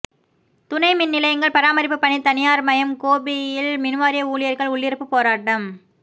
துணை மின்நிலையங்கள் பராமரிப்பு பணி தனியார்மயம் கோபியில் மின்வாரிய ஊழியர்கள் உள்ளிருப்பு போராட்டம்